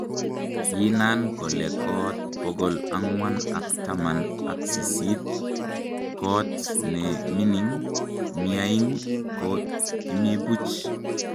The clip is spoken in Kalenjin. kiinan kole koot bokol angwan ak taman ak sisit, koot nw mining miaing, ko kimi buch